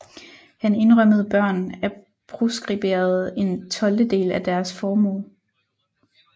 Han indrømmede børn af proskriberede en tolvtedel af deres formue